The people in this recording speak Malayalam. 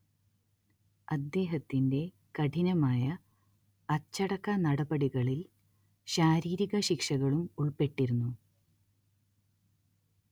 അദ്ദേഹത്തിന്റെ കഠിനമായ അച്ചടക്കനടപടികളിൽ ശാരീരിക ശിക്ഷകളും ഉൾപ്പെട്ടിരുന്നു